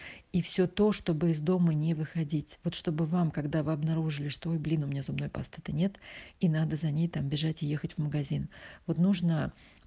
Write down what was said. и все то чтобы из дома не выходить вот чтобы вам когда вы обнаружили что вы блин у меня зубной пасты то нет и надо за ней там бежать и ехать в магазин вот нужно